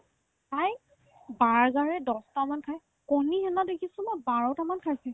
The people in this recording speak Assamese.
তাই বাৰ্গাৰে দছটামান খাই কণী সেইদিনাখন মই দেখিছো বাৰটামান খাইছে